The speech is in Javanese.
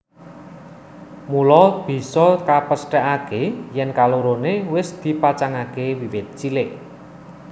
Mula bisa kapesthèkaké yèn kaloroné wis dipacangaké wiwit cilik